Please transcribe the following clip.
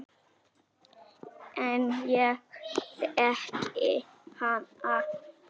En ég þekki hana.